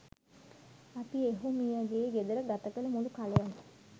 අපි එහුමියගේ ගෙදර ගත කල මුලු කලයම